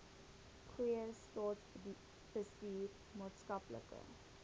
goeie staatsbestuur maatskaplike